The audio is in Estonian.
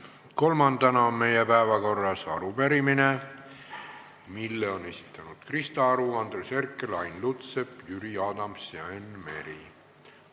Kolmandana on meie päevakorras arupärimine, mille on esitanud Krista Aru, Andres Herkel, Ain Lutsepp, Jüri Adams ja Enn Meri.